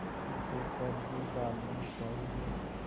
उसे कर ही डालना चाहिए